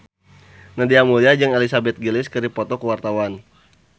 Nadia Mulya jeung Elizabeth Gillies keur dipoto ku wartawan